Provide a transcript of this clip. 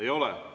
Ei ole.